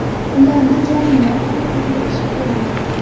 Ularni jonimdan ortiq yaxshi ko‘raman.